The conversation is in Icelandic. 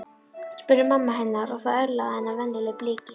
spurði mamma hennar og það örlaði á hennar venjulega bliki.